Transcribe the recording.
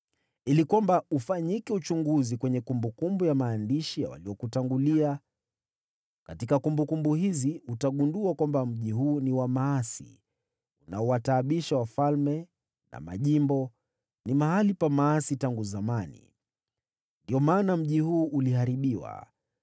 ili kwamba ufanyike uchunguzi kwenye kumbukumbu ya maandishi ya waliokutangulia. Katika kumbukumbu hizi utagundua kwamba mji huu ni wa maasi, unaowataabisha wafalme na majimbo, ni mahali pa maasi tangu zamani. Ndiyo maana mji huu uliharibiwa.